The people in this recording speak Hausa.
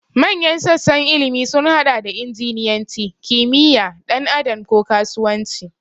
Manyan sassan ilimi sun haɗa da injiniyanci, kimiyya, ɗan adam, ko kasuwanci.